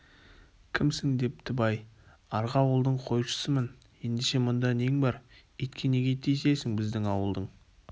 кімсің депті бай арғы ауылдың қойшысымын ендеше мұнда нең бар итке неге тиісесің біздің ауылдың